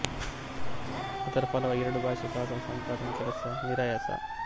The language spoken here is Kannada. ಅದರ ಫಲವಾಗಿ ಎರಡೂ ಭಾಷೆಯ ಶಾಸನ ಸಂಪಾದನೆಯ ಕೆಲಸ ನಿರಾಯಾಸ